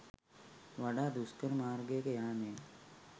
වඩා දුෂ්කර මාර්ගයක යාමෙන්